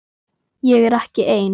Ég er ekki ein.